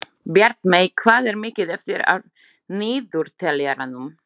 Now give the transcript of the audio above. Bjartmey, hvað er mikið eftir af niðurteljaranum?